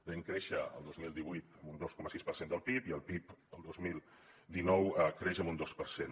vam créixer el dos mil divuit amb un dos coma sis per cent del pib i el pib el dos mil dinou creix amb un dos per cent